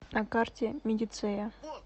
на карте медицея